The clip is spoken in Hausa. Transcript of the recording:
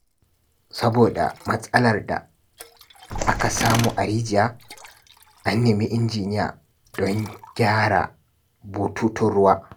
Saboda matsalar da aka samu a rijiya, an nemi injiniya don gyara bututun ruwa.